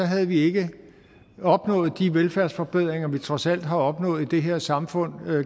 havde vi ikke opnået de velfærdsforbedringer vi trods alt har opnået i det her samfund